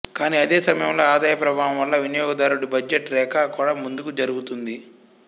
కాని అదే సమయంలో ఆదాయ ప్రభావం వల్ల వినియోగదారుడి బడ్జెట్ రేఖ కూడా ముందుకు జరుగుతుంది